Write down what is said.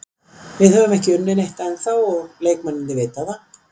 Við höfum ekki unnið neitt ennþá og leikmennirnir vita það.